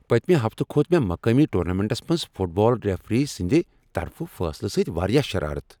پٔتۍمہِ ہفتہٕ کھوت مےٚ مقٲمی ٹورنامنٹس منٛز فٹ بال ریفری سٕنٛدِ طرفہٕ فٲصلہٕ سۭتۍ واریاہ شرارت۔